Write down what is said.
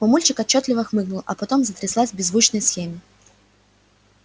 мамульчик отчётливо хмыкнул а потом затряслась в беззвучном схеме